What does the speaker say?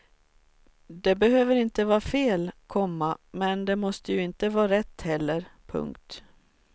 Det behöver inte vara fel, komma men det måste ju inte vara rätt heller. punkt